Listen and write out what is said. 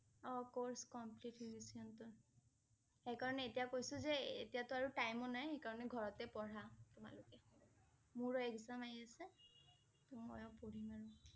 অ' course complete হৈ গৈছে সিহঁতৰ সেইকাৰণে এতিয়া কৈছোঁ যে এতিয়া টো আৰু time ও নাই । সেইকাৰণে ঘৰতে পঢ়া তোমালোকে মোৰো exam আহি আছে। ময়ো পঢ়িম আৰু ।